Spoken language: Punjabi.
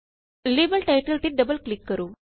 ਲੇਬਲ ਟਾਇਟਲ ਤੇ ਡਬਲ ਕਲਿਕ ਕਰੋ